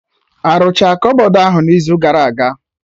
Arụcha kọbọd ahụ n'izu gara aga